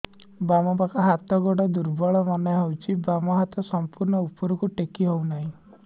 ବାମ ପାଖ ହାତ ଗୋଡ ଦୁର୍ବଳ ମନେ ହଉଛି ବାମ ହାତ ସମ୍ପୂର୍ଣ ଉପରକୁ ଟେକି ହଉ ନାହିଁ